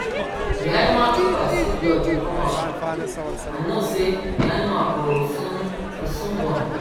the animal keeper see blood dey come out and know say the animal go soon go soon born